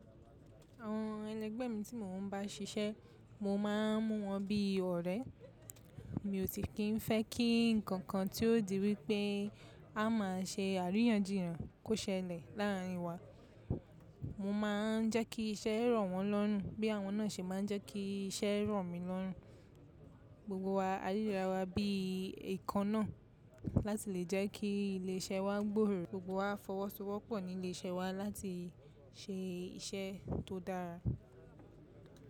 Àwọn ẹlẹgbẹ mi tí mò ń bá ṣiṣẹ́, mo máa ń mú wọn bí ọ̀rẹ́. Mi ò si kín fẹ́ kí nǹkan tí yóò di wípé a máa ṣe àríyànjiyàn kó ṣẹlẹ̀ láàrin wa. Mo máa ń jẹ́ kí iṣẹ́ rọ̀ wọ́n lọ́run bí àwọn náà ṣe má ń jẹ́ kí iṣẹ́ rọ̀ mi lọ́run. Gbogbo wa á ríra wa bí ikan náà láti lè jẹ́ kí ilé iṣẹ́ wa gbòòrò. Gbogbo wa á fọwọ́sowọ́pọ̀ ní ilé iṣẹ́ wa láti ṣe iṣẹ́ tó dára.